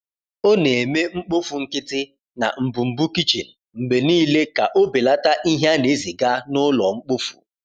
O na-eme mkpofu nkịtị na mbumbu kichin mgbe niile ka o belata ihe a na-eziga n’ụlọ mkpofu.